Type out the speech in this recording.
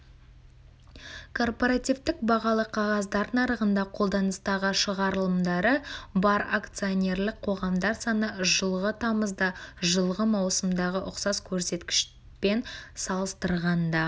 корпоративтік бағалы қағаздар нарығында қолданыстағы шығарылымдары бар акционерлік қоғамдар саны жылғы тамызда жылғы маусымдағы ұқсас көрсеткішпен салыстырғанда